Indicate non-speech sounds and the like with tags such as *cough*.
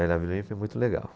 *unintelligible* Vila Olímpia é muito legal.